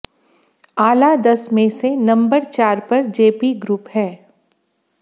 आला दस में से नंबर चार पर जेपी ग्रुप है